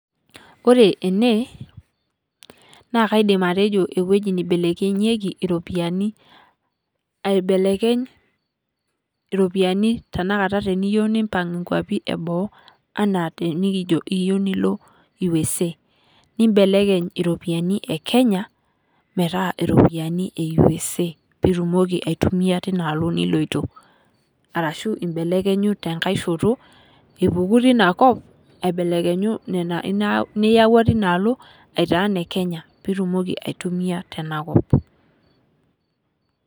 Ore enee naa kaidim atejo ewueji neibelekenyieki oropiyiani. Aibelekeny taa teniyieu nilo inkuapi eboo anaa teniyieu nilio USA. Nimbelekeny iropiyiani e Kenya metaa inina kop niloito peyie itumoki atasishore tena kop niloito. Ashuu imbelekenyu teina kop metaa inenkop inyi aa Kenya.